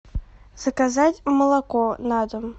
заказать молоко на дом